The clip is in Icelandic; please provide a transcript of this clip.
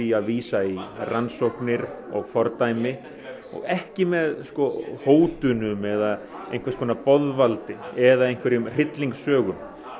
að vísa í rannsóknir og fordæmi og ekki með sko hótunum eða boðvaldi eða hryllingssögum